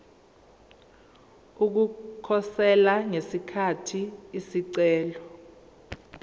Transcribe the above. ukukhosela ngesikhathi isicelo